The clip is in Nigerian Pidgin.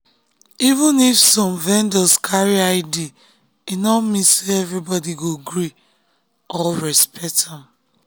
even if some vendors carry id e no mean say everybody go gree or respect am.